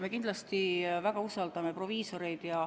Me kindlasti usaldame proviisoreid.